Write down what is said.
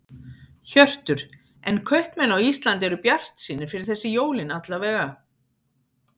Hjörtur: En kaupmenn á Íslandi eru bjartsýnir fyrir þessi jólin alla vega?